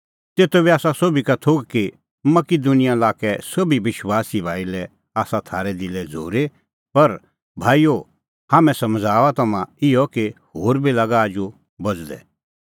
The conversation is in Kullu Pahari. तेतो बी आसा सोभी का थोघ कि मकिदुनिया लाक्कै सोभी विश्वासी भाई लै आसा थारै दिलै झ़ूरी पर भाईओ हाम्हैं समझ़ाऊआ तम्हां इहअ कि होर बी लागा आजू बझ़दै